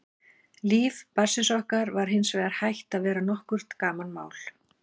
Líf barnsins okkar var hins vegar hætt að vera nokkurt gamanmál.